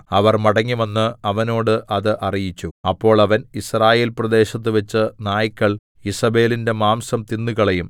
അവർ മടങ്ങിവന്ന് അവനോട് അത് അറിയിച്ചു അപ്പോൾ അവൻ യിസ്രയേൽപ്രദേശത്തുവെച്ച് നായ്ക്കൾ ഈസേബെലിന്റെ മാംസം തിന്നുകളയും